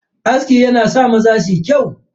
Aski yana sa maza suyi kyau.